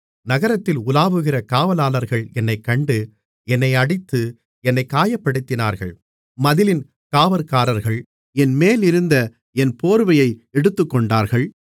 நகரத்தில் உலாவுகிற காவலாளர்கள் என்னைக் கண்டு என்னை அடித்து என்னைக் காயப்படுத்தினார்கள் மதிலின் காவற்காரர்கள் என்மேலிருந்த என் போர்வையை எடுத்துக்கொண்டார்கள்